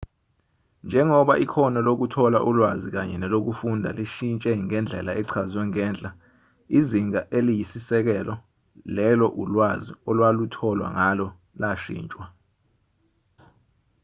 njengoba ikhono lokuthola ulwazi kanye nelokufunda lishintshe ngendlela echazwe ngenhla izinga eliyisisekelo lelo ulwazi olwalutholwa ngalo lashintshwa